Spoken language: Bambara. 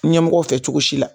Ɲɛmɔgɔw fɛ cogo si la